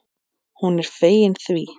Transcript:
Hún er fegin því.